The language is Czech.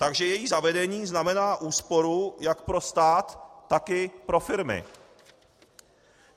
Takže její zavedení znamená úsporu jak pro stát, tak i pro firmy.